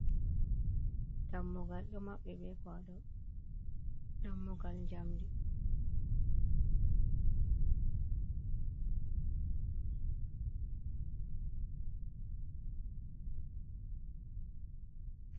Dammugal ɗo maɓɓi be kuwaɗaw, dammugal njamndi.